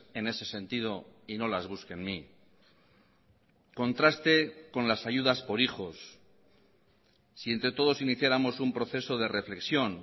en ese sentido y no las busque en mí contraste con las ayudas por hijos si entre todos iniciáramos un proceso de reflexión